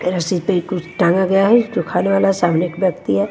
इस पे कुछ टांगा गया है जो खाने वाला सामने एक व्यक्ति है।